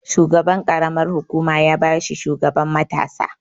Shugaban ƙaramar hukuma ya ba shi shugaban matasa.